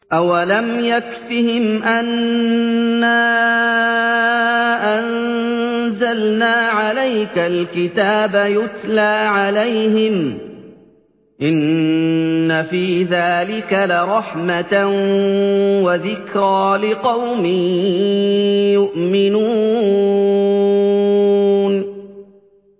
أَوَلَمْ يَكْفِهِمْ أَنَّا أَنزَلْنَا عَلَيْكَ الْكِتَابَ يُتْلَىٰ عَلَيْهِمْ ۚ إِنَّ فِي ذَٰلِكَ لَرَحْمَةً وَذِكْرَىٰ لِقَوْمٍ يُؤْمِنُونَ